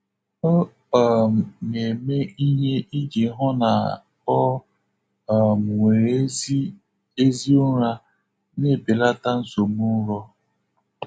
Ọ um na-eme ihe iji hụ na o um nwere ezi ezi ụra, na-ebelata nsogbu nrọ.